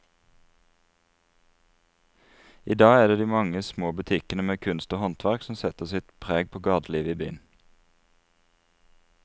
I dag er det de mange små butikkene med kunst og håndverk som setter sitt preg på gatelivet i byen.